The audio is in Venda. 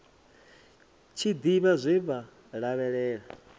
tshi ḓivha zwe vha lavhelela